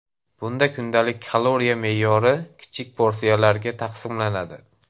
Bunda kundalik kaloriya me’yori kichik porsiyalarga taqsimlanadi.